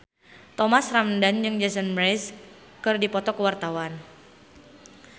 Thomas Ramdhan jeung Jason Mraz keur dipoto ku wartawan